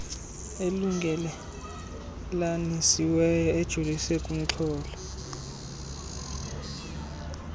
elungelelanisiweyo ejolise kumxholo